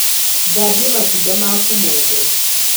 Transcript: Thambia matunda maku mothe.